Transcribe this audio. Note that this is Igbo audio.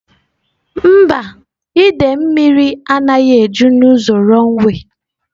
Mba, idei mmiri anaghị eju n'ụzọ runway.